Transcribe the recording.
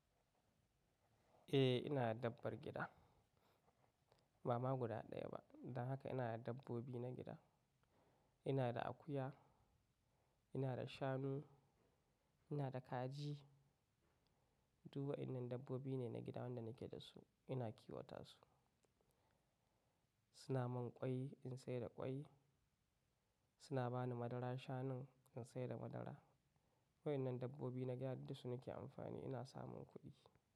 Eh ina da dabbar gida, ba ma guda ɗaya ba. Don haka ina da dabbobi na gida. Ina da akuya, ina da shanu, ina da kaji. Duba inda dabbobi ne na gida wanda nake da su ina kiwata su. Suna mun kwai in sayar da kwai, suna bani madara shanun in sayar da madara. Waɗannan dabbobi na gida duk su nake amfani ina samun kuɗi.